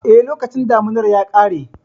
Eh, lokacin damunar ya ƙare.